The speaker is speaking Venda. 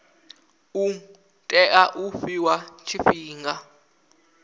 u tea u fhiwa tshifhinga